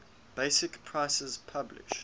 basic prices published